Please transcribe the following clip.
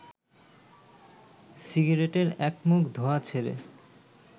সিগারেটের একমুখ ধোঁয়া ছেড়ে